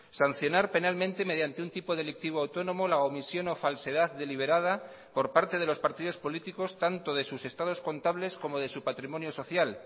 sancionar penalmente mediante un tipo delictivo autónomo la omisión o falsedad deliberada por parte de los partidos políticos tanto de sus estados contables como de su patrimonio social